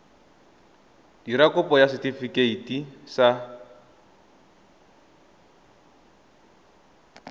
dira kopo ya setefikeiti sa